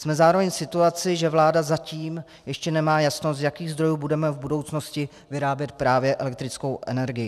Jsme zároveň v situaci, že vláda zatím ještě nemá jasno, z jakých zdrojů budeme v budoucnosti vyrábět právě elektrickou energii.